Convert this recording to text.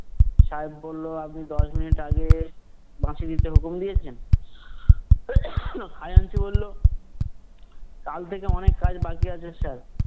সাহেব বললো, আপনি দশ মিনিট আগে বাঁশি দিতে হুকুম দিয়েছেন? খাজাঞ্চি বললো, কাল থেকে অনেক কাজ বাকি আছে sir